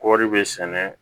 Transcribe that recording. Kɔɔri bɛ sɛnɛ